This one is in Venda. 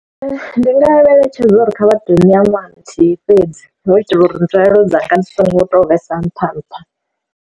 Ndi nga vha eletshedza uri kha vhaḓoni ya ṅwaha nthihi fhedzi hu itela uri nzulelo dzanga dzi so ngo to vhesa nṱha nṱha.